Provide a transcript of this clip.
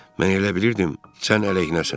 Mən elə bilirdim, sən əleyhinəsən.